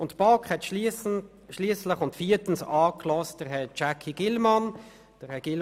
Am Schluss hat die BaK Herrn Jacky Gillmann angehört.